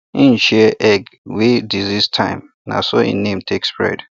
hin share egg wey disease time na so him name take spread